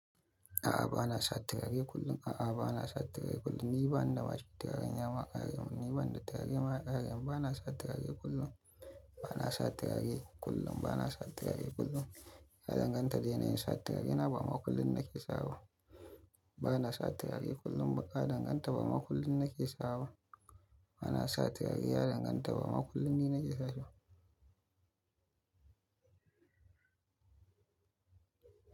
A'a, ba na sa turare kullum. A'a, ba na sa turare kullum. Ni ba na da turareya maƙare. Ni ba na da turare mayaƙare. Ba na sa turare kullum. Ba na sa turare kullum. Ba na sa turare kullum. Ya danganta da yanayin sa turarena, ba ma kullum na ke sawa. Ba na sa turare kullum. Ba a danganta, ba ma kullum na ke sawaba. Ba na sa turare. Ya danganta, ba ma kullum ni na ke sashiba.